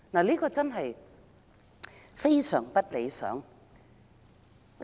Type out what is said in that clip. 這種情況極不理想。